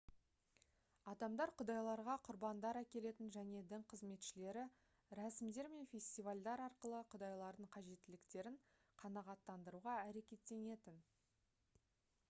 адамдар құдайларға құрбандар әкелетін және дін қызметшілері рәсімдер мен фестивальдар арқылы құдайлардың қажеттіліктерін қанағаттандыруға әрекеттенетін